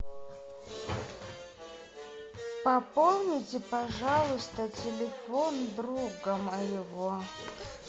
пополните пожалуйста телефон друга моего